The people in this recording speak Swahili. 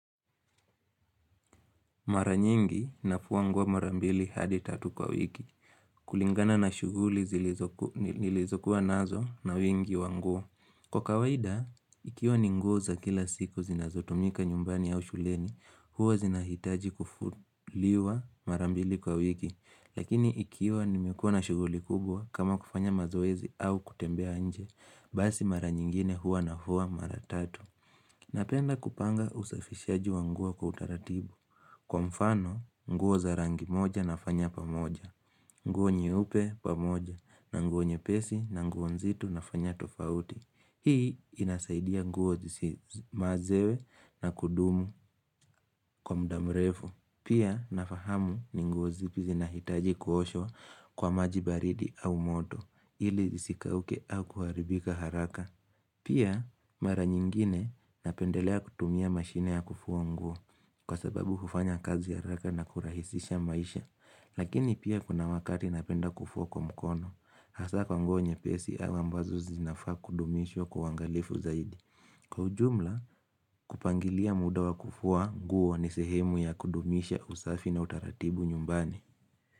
Mara nyingi nafua nguo mara mbili hadi tatu kwa wiki. Kulingana na shughuli zi nilizokuwa nazo na wingi wa nguo. Kwa kawaida, ikiwa ni nguo za kila siku zinazotumika nyumbani au shuleni, huwa zinahitaji kufuliwa mara mbili kwa wiki. Lakini ikiwa nimekuwa na shuguli kubwa kama kufanya mazoezi au kutembea nje, basi mara nyingine huwa nafua mara tatu. Napenda kupanga usafishaji wa nguo kwa utaratibu. Kwa mfano, nguo za rangi moja nafanya pamoja, nguo nyeupe pamoja, na nguo nyepesi na nguo nzito nafanya tofauti. Hii inasaidia nguo zisi mazewe na kudumu kwa mda mrefu. Pia nafahamu ni nguo zipi zinahitaji kuoshwa kwa maji baridi au moto ili zisikauke au kuharibika haraka. Pia mara nyingine napendelea kutumia mashine ya kufua nguo kwa sababu hufanya kazi haraka na kurahisisha maisha. Lakini pia kuna wakari napenda kufua kwa mkono. Hasa kwa nguo nyepesi au ambazo zinafaa kudumishwa kwa uangalifu zaidi. Kwa ujumla kupangilia muda wa kufua nguo wa ni sehemu ya kudumisha usafi na utaratibu nyumbani.